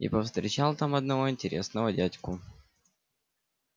и повстречал там одного интересного дядьку